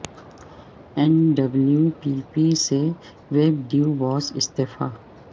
N W P P سے ویب ڈیو بوس استعفے